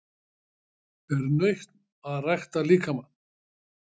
Er nautn að rækta líkamann?